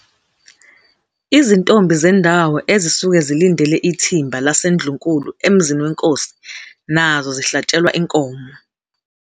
Izintombi zendawo ezisuke zilindele ithimba laseNdlunkulu emzini weNkosi nazo zihlatshelwa inkomo.